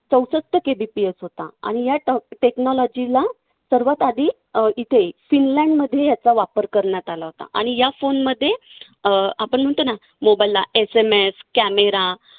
चौसष्ट KBPS होता आणि या technology ला सर्वात आधी अं इथे फिनलँडमध्ये याचा वापर करण्यात आला होता आणि या phone मध्ये अं आपण म्हणतो ना mobile ला SMScamera